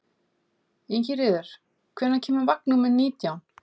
Ingiríður, hvenær kemur vagn númer nítján?